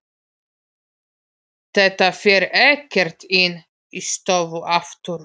Þetta fer ekkert inn í stofu aftur!